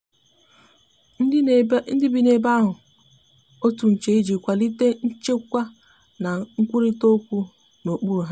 ndi bi n'ebe ahu kpụrụ otụ nche ịjị kwalite nchekwa na nkwụrita okwu na okpụrụ ha